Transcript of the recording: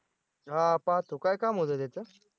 हां पाहतो, काय काम होतं त्याचं?